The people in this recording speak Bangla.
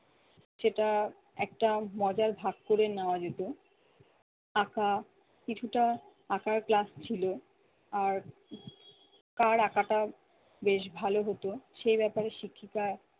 সেটা একটা মজার ভাগ করে নেওয়া যেত। আঁকা কিছুটা আঁকার class ছিল, আর কার আঁকাটা বেশ ভালো হতো সেই ব্যাপারে শিক্ষিকা